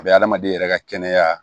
A bɛ hadamaden yɛrɛ ka kɛnɛya